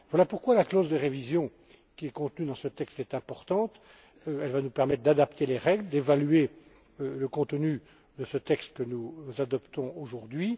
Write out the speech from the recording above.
Voilà pourquoi la clause de révision contenue dans ce texte est importante elle nous permettra d'adapter les règles, d'évaluer le contenu de ce texte que nous adoptons aujourd'hui.